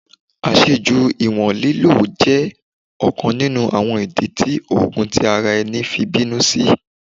Aṣeju iwọn lilo jẹ ọkan ninu awọn idi ti oogun ti ara ẹni fi binu si